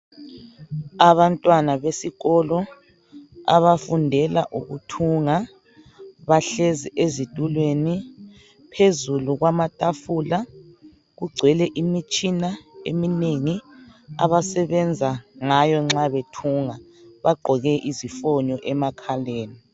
abantwana besikolo abafundela ukuthunga bahlezi ezitulweni phezulu kwamatafula kugcwele imitshina eminengi abasebenza ngayo nxa bethunga bagqoke izifonyo emakhaleni